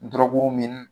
Dɔrɔguw min